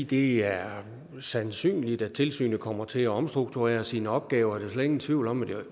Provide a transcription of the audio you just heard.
det er sandsynligt at tilsynet kommer til at omstrukturere sine opgaver det slet ingen tvivl om